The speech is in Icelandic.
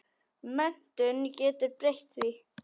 Menntun getur breytt því.